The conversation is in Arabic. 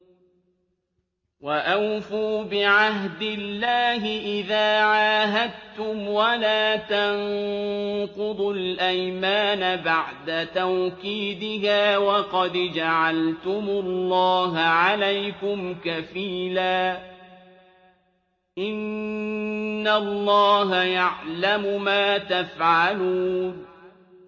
وَأَوْفُوا بِعَهْدِ اللَّهِ إِذَا عَاهَدتُّمْ وَلَا تَنقُضُوا الْأَيْمَانَ بَعْدَ تَوْكِيدِهَا وَقَدْ جَعَلْتُمُ اللَّهَ عَلَيْكُمْ كَفِيلًا ۚ إِنَّ اللَّهَ يَعْلَمُ مَا تَفْعَلُونَ